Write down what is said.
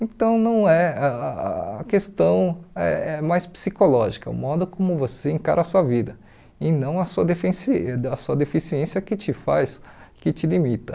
Então, não é ah a questão é é mais psicológica, o modo como você encara a sua vida, e não a sua defensi da sua deficiência que te faz, que te limita.